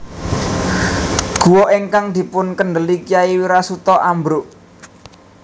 Guwa ingkang dipunkèndeli Kyai Wirasuta ambruk